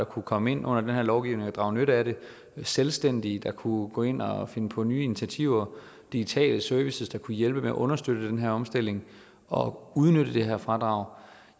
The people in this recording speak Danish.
kunne komme ind under den her lovgivning og drage nytte af den selvstændige der kunne gå ind og finde på nye initiativer og digitale services der kunne hjælpe med at understøtte den her omstilling og udnytte det her fradrag